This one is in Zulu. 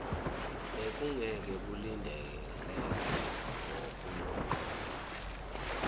bekungeke kulindeleke ngokunomqondo